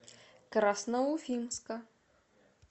красноуфимска